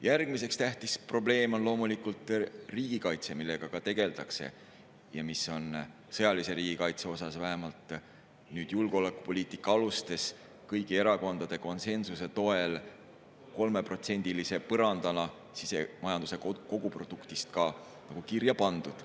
Järgmisena tähtis probleem on loomulikult riigikaitse, millega ka tegeldakse ja mis on sõjalise riigikaitse osas vähemalt nüüd julgeolekupoliitika alustes kõigi erakondade konsensuse toel 3%‑lise põrandana – sisemajanduse koguproduktist – ka kirja pandud.